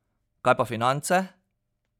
Kaj pa finance?